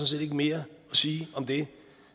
set ikke mere at sige om det